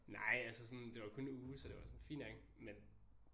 Nej altså sådan det var kun en uge så det var sådan fint nok men